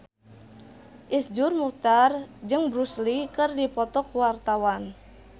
Iszur Muchtar jeung Bruce Lee keur dipoto ku wartawan